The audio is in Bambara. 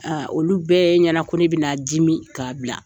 Olu bɛɛ ɲana ko bɛna dimi k'a bila.